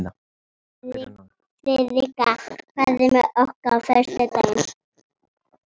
Friðrikka, ferð þú með okkur á föstudaginn?